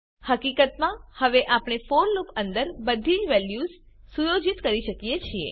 હકીકતમાં હવે આપણે ફોર લૂપ અંદર બધી વેલ્યુઝ સુયોજિત કરી શકીએ છીએ